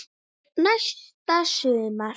Næsta sumar?